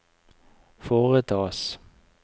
foretas